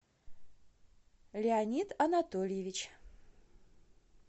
леонид анатольевич